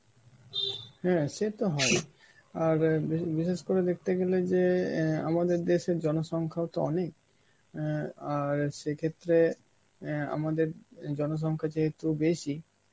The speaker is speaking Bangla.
হ্যাঁ সে তো হই, আর এ বিশে~ বিশেষ করে দেখতে গেলে যে অ্যাঁ আমাদের দেশের জনসংখ্যা তো অনেক, অ্যাঁ আর সেই ক্ষেত্রে অ্যাঁ আমাদের এ জনসংখ্যা যেহেতু বেশি,